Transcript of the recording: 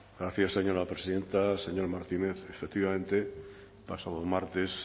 gracias señora presidenta señor martínez efectivamente el pasado martes